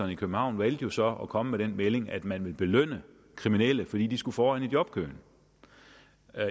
i københavn valgte jo så at komme med den melding at man ville belønne kriminelle fordi de skulle foran i jobkøen